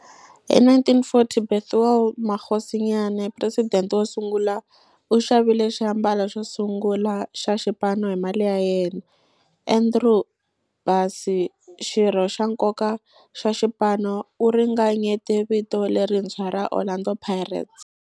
Hi 1940, Bethuel Mokgosinyane, president wosungula, u xavile xiambalo xosungula xa xipano hi mali ya yena. Andrew Bassie, xirho xa nkoka xa xipano, u ringanyete vito lerintshwa ra 'Orlando Pirates'.